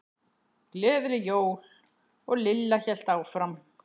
Gleðileg jól. og Lilla hélt áfram.